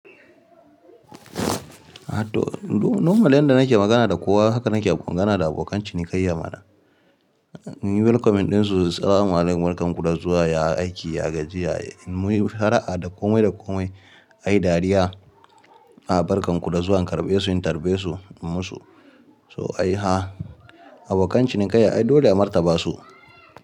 Aha to normal yanda nake magana da kowa haka nake magana da abokan cinikayya mana. In yi welcoming ɗin su, salama alaikum barkan ku da zuwa, ya aiki, ya gajiya. Muyi fara'a da komai da komai, ayi dariya. A barkan ku da zuwa, in karɓe su, in tarbe su in musu. So ayi ha. Abokan cinikayya ai dole a martaba su.